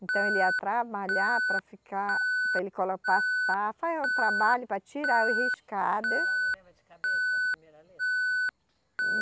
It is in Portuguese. Então ele ia trabalhar para ficar, para ele colo, passar, fazer o trabalho para tirar os riscado. E a senhora não lembra de cabeça a primeira letra? Hum